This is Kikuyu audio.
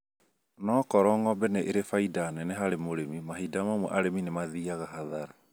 Ona okorwo ng'ombe nĩ irĩ faida neneharĩ mũrĩmi mahinda mamwe arĩmi nĩ mathiaga hathara